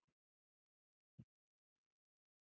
.